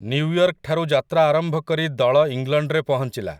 ନ୍ୟୁୟର୍କଠାରୁ ଯାତ୍ରା ଆରମ୍ଭ କରି ଦଳ ଇଂଲଣ୍ଡରେ ପହଞ୍ଚିଲା ।